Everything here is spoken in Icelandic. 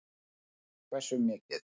Haukur: Hversu mikið?